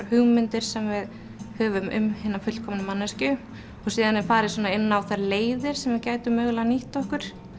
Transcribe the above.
hugmyndir sem við höfum um hina fullkomnu manneskju síðan er farið inn á þær leiðir sem við gætum mögulega nýtt okkur